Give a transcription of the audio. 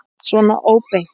Svona óbeint.